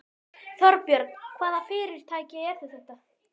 Þorbjörn: Hvaða fyrirtæki eru þetta?